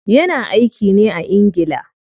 Ya na aiki ne a ingila.